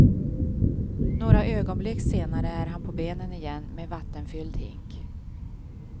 Några ögonblick senare är han på benen igen med vattenfylld hink.